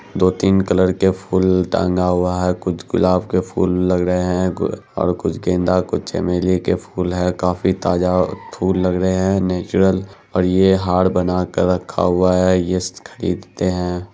दो-तीन कलर के फूल टांगा हुआ है कुछ गुलाब के फूल लग रहे है और कुछ गेंदा कुछ चमेली के फूल है काफी ताजा फूल लग रहे है नेचुरल और ये हार बना के रखा हुआ है येस खरीदते है।